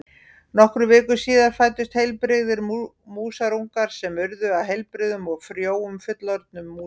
Nokkrum vikum síðar fæddust heilbrigðir músarungar sem urðu að heilbrigðum og frjóum fullorðnum músum.